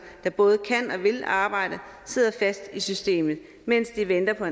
der både kan og vil arbejde sidder fast i systemet mens de venter på